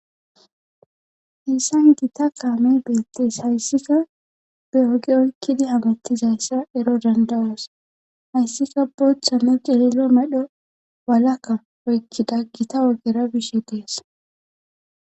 hissan gita kaamey beettees hayssika be oge oykkidi hamattizayssa ero dandawas hayssika booththanne ceeelo medho walakka oykkida gita wogera bishe dees